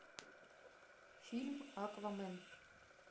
фильм аквамен